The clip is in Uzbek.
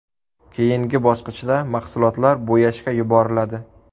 Keyingi bosqichda mahsulotlar bo‘yashga yuboriladi.